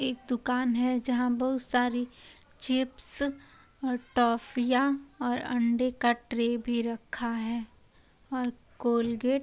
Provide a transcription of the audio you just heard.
एक दुकान है जहाँ बहुत सारीचिप्स और टॉफियाँ और अंडे का ट्रे भी रखा है |